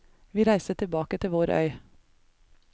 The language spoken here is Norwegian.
Vi reiste tilbake til vår øy.